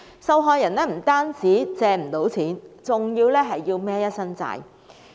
受害人不單無法借到錢，還要背負一身債項。